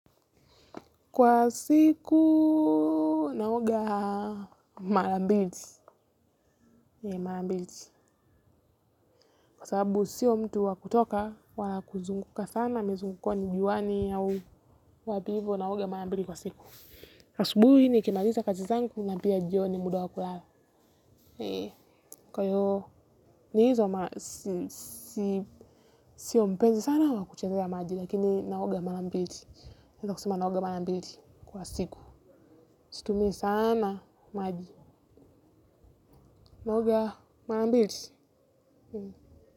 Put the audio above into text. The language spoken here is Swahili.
Kwa siku, naoga mara mbili. Kwa sababu sio mtu wakutoka, wala kuzunguka sana, mizunguko ni juani au wapi hivo, naoga mara mbili kwa siku. Asubuhi nikimaliza kazi zangu, na pia jioni muda wa kulala. Kwa hiyo, sio mpenzi sana wakuchezea maji, lakini naoga mara mbili. Naeza kusema naoga mara mbili kwa siku. Situmii sana, maji. Naoga, mara mbili.